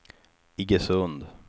Iggesund